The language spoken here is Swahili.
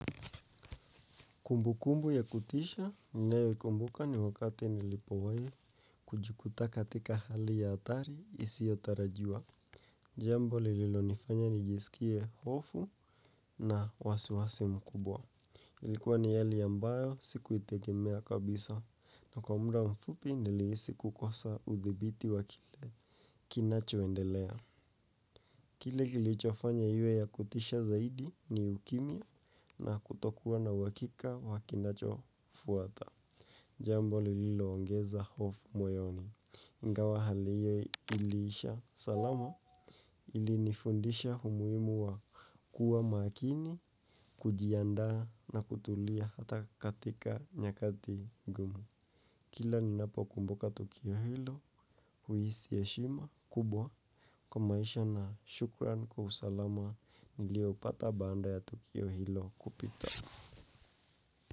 Kumbukumbu ya kutisha ninayoikumbuka ni wakati nilipowahi kujikuta katika hali ya hatari isiyotarajiwa. Jambo lililonifanya nijisikie hofu na wasiwasi mkubwa. Ilikuwa ni hali ambayo sikuitegemea kabisa na kwa muda mfupi nilihisi kukosa uthibiti wa kile kinachoendelea. Kile kilichofanya iwe ya kutisha zaidi ni ukimya na kutokuwa na uhakika wa kinachofuata. Jambo liloongeza hofu moyoni ingawa hali hiyo iliisha salama ilinifundisha umuhimu wa kuwa makini kujiandaa na kutulia hata katika nyakati ngumu. Kila ninapokumbuka Tukio Hilo huhisi heshima kubwa kwa maisha na shukrani kwa usalama niliopata baada ya Tukio Hilo kupita.